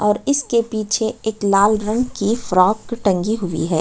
और इसके पीछे एक लाल रंग की फ्रॉक टंगी हुई है।